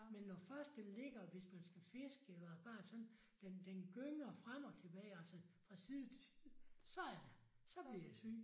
Men når først den ligger hvis man skal fiske eller bare sådan den den gynger frem og tilbage altså fra side til side så er det så bliver jeg syg